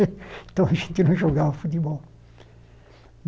Então, a gente não jogava futebol.